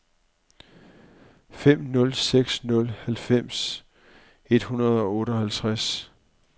fem nul seks nul halvfems et hundrede og otteoghalvfjerds